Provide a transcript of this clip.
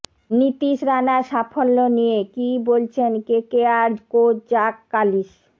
নীতীশ রানার সাফল্য নিয়ে কী বলছেন কেকেআর কোচ জাক কালিস